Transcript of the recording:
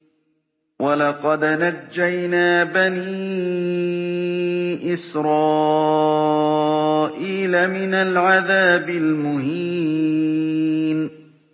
وَلَقَدْ نَجَّيْنَا بَنِي إِسْرَائِيلَ مِنَ الْعَذَابِ الْمُهِينِ